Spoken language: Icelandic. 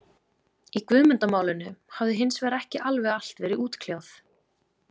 Í Guðmundarmálinu hafði hins vegar ekki alveg allt verið útkljáð.